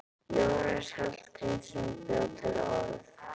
Jónas Hallgrímsson bjó til orð.